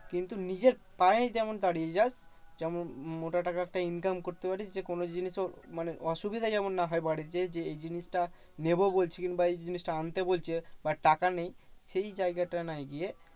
কিন্তু নিজের পায়ে যেমন দাঁড়িয়ে যাস। যেমন মো মোটা টাকা একটা income করতে পারিস যে, কোনো দিনই তোর মানে অসুবিধা যেমন না হয় বাড়িতে। যে এই জিনিসটা নেবো বলছি কিংবা এই জিনিসটা আনতে বলছে but টাকা নেই এই জায়গাটায় না গিয়ে